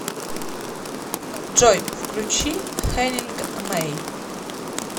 джой включи хеннинг мэй